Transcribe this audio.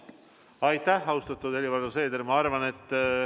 Austatud Helir-Valdor Seeder!